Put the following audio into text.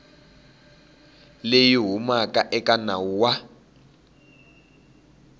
leyi humaka eka nawu wa